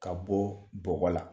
Ka bɔ bɔgɔ la